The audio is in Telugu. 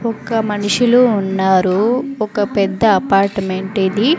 ఒక మనుషులు ఉన్నారు ఒక పెద్ద అపార్ట్మెంట్ ఇది.